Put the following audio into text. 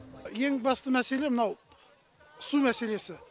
ең басты мәселе мынау су мәселесі